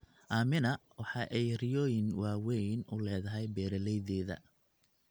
Aamina waxa ay riyooyin waaweyn u leedahay beeralaydeeda.